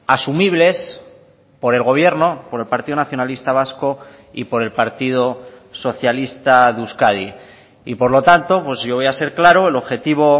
asumibles por el gobierno por el partido nacionalista vasco y por el partido socialista de euskadi y por lo tanto pues yo voy a ser claro el objetivo